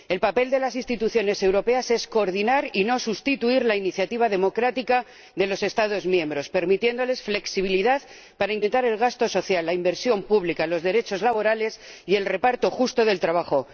El papel de las instituciones europeas es coordinar y no sustituir la iniciativa democrática de los Estados miembros, permitiéndoles flexibilidad para incrementar el gasto social, la inversión pública, los derechos laborales y el reparto justo del trabajo.